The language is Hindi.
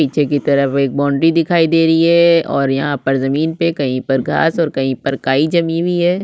पीछे की तरफ एक बाउंड्री दिखाई दे रही हे और यहाँ पर ज़मीन पर कहीं पर घास और कहीं पर काई जमी हुवी हैं।